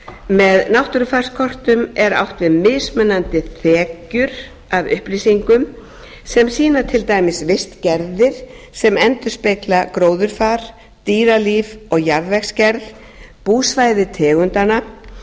með náttúrufarskortum er átt við mismunandi þekjur af upplýsingum sem sýna til dæmis vistgerðir sem endurspegla gróðurfar dýralíf og jarðvegsgerð búsvæði tegundanna